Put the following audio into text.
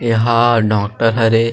एहा डॉक्टर हरे।